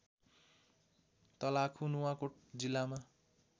तलाखु नुवाकोट जिल्लामा